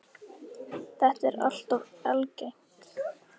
Þetta er alltof algengt.